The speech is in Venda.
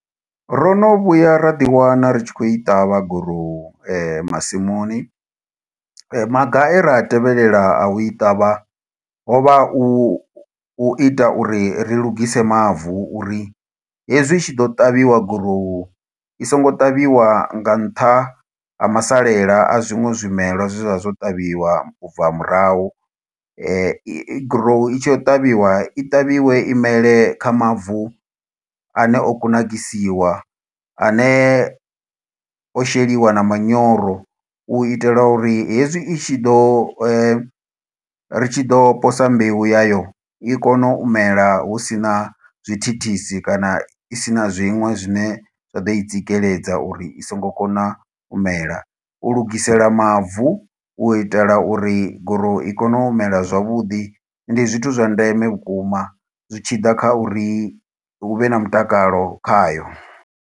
Ro no vhuya ra ḓiwana ri tshi khou i ṱavha gurowu, masimuni. Maga e ra a tevhelela a u i ṱavha, ho vha u u ita uri ri lungise mavu, uri hezwi itshi ḓo ṱavhiwa gurowu, i songo ṱavhiwa nga nṱha ha masalela a zwiṅwe zwimelwa zwe zwa vha zwo ṱavhiwa ubva murahu. Grow i tshi ya u ṱavhiwa, i ṱavhiwe imele kha mavu ane o kunakisiwa, ane o sheliwa na manyoro. U itela uri hezwi i tshi ḓo, ri tshi ḓo posa mbeu yayo, i kone u mela husina zwi thithisi, kana isina zwiṅwe zwine zwa ḓo i tsikeledza, uri i songo kona mela. U lugisela mavu, u itela uri goruwu i kone u mela zwavhuḓi, ndi zwithu zwa ndeme vhukuma zwi tshi ḓa kha uri hu vhe na mutakalo khayo.